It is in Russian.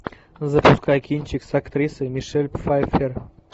запускай кинчик с актрисой мишель пфайффер